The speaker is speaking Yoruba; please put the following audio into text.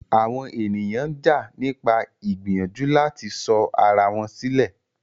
Àwọn ènìyàn ń jà nípa ìgbìyànjú láti sọ ara wọn sílẹ̀.